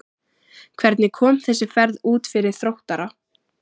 Hvernig kom þessi ferð út fyrir Þróttara?